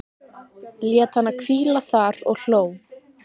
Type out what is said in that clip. Lét hana hvíla þar og hló.